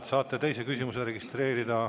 Te saate teise küsimuse registreerida.